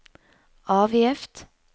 avgift